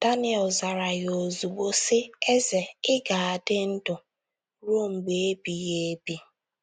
Daniel zara ya ozugbo, sị: “ Eze, ị ga - adị ndụ ruo mgbe ebighị ebi.